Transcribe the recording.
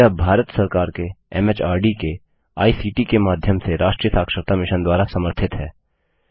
यह भारत सरकार के एमएचआरडी के आईसीटी के माध्यम से राष्ट्रीय साक्षरता मिशन द्वारा समर्थित है